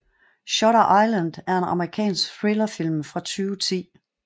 Shutter Island er en amerikansk thrillerfilm fra 2010